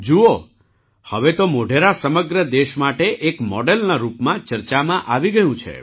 જુઓ હવે તો મોઢેરા સમગ્ર દેશ માટે એક મૉડલના રૂપમાં ચર્ચામાં આવી ગયું છે